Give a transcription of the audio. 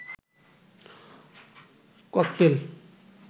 cocktail